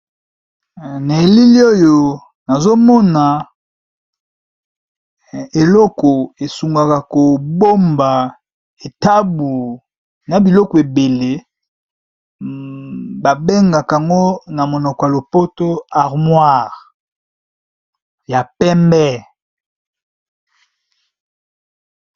Na elili oyo nazomona eloko esungaka kobomba etabu na biloko ebele babengak ngo na monoko ya lopoto armoire ya pembe.